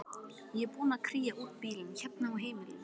Ég er búin að kría út bílinn hérna á heimilinu.